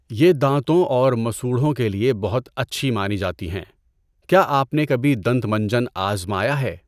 یہ دانتوں اور مسوڑھوں کے لیے بہت اچھی مانی جاتی ہیں۔ کیا آپ نے کبھی دنت منجن آزمایا ہے؟